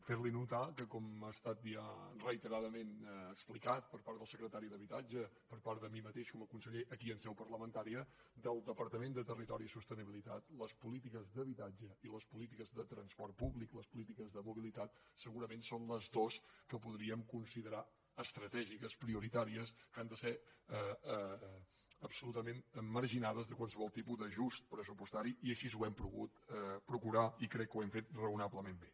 fer li notar que com ha estat ja reiteradament explicat per part del secretari d’habitatge per part de mi mateix com a conseller aquí en seu parlamentària del departament de territori i sostenibilitat les polítiques d’habitatge i les polítiques de transport públic les polítiques de mobilitat segurament són les dues que podríem considerar estratègiques prioritàries que han de ser absolutament marginades de qualsevol tipus d’ajust pressupostari i així ho hem pogut procurar i crec que ho hem fet raonablement bé